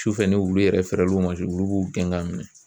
Sufɛ ni wulu yɛrɛ fɛrɛ l'u ma wulu b'u gɛn ka minɛn.